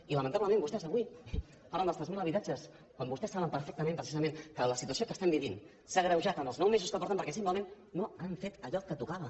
i lamentablement vostès avui parlen dels tres mil habitatges quan vostès saben perfectament precisament que la situació que estem vivint s’ha agreujat en els nou mesos que porten perquè simplement no han fet allò que tocava